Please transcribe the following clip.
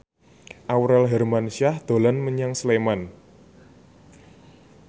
Aurel Hermansyah dolan menyang Sleman